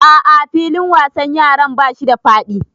A'a filin wasan yaran bashi da faɗi